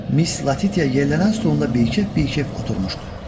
Miss Latitia yerlənən stolunda bir kef, bir kef oturmuşdu.